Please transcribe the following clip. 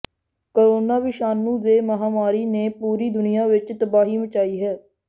corona ਵਿਸ਼ਾਣੂ ਦੇ ਮਹਾਂਮਾਰੀ ਨੇ ਪੂਰੀ ਦੁਨੀਆਂ ਵਿੱਚ ਤਬਾਹੀ ਮਚਾਈ ਹੈ